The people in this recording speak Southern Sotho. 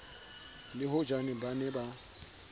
le hojane ba ne ba